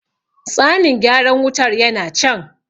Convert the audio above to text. tsanin gyaran wutar yana can